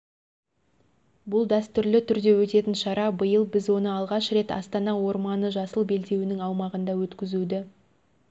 бұл дәстүрлі түрде өтетін шара биыл біз оны алғаш рет астана орманы жасыл белдеуінің аумағында өткізуді